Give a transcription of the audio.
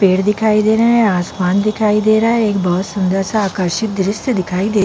पेड़ दिखाई दे रहे है आसमान दिखाई दे रहा है एक बहोत सुन्दर सा आकर्षित दृशय दिखाई दे--